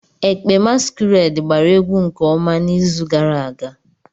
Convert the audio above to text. Ekpe masquerade gbara egwu nke ọma n'izu gara aga.